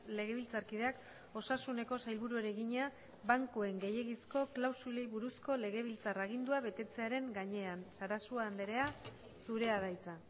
legebiltzarkideak osasuneko sailburuari egina bankuen gehiegizko klausulei buruzko legebiltzar agindua betetzearen gainean sarasua andrea zurea da hitza